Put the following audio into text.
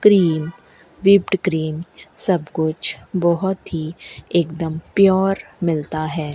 Cream whipped cream सब कुछ बहोत ही एक दम प्योर मिलता है।